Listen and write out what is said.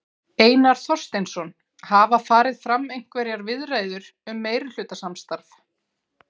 Einar Þorsteinsson: Hafa farið fram einhverjar viðræður um meirihlutasamstarf?